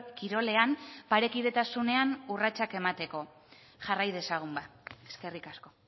kirolean parekidetasunean urratsak emateko jarrai dezagun ba eskerrik asko